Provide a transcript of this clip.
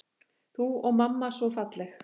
Þú og mamma svo falleg.